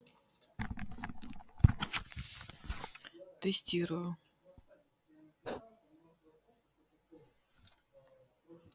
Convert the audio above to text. тестирую